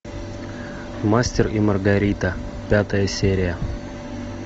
мастер и маргарита пятая серия